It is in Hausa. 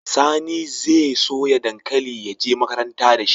Sani zai soya dankali ya je makaranta dashi